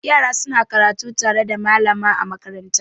Yara suna karatu tare da malam a makaranta.